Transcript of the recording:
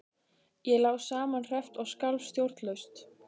Ég lá samanherpt og skalf stjórnlaust.